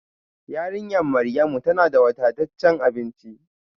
Yarinyar Maryamu tana da wadataccen abinci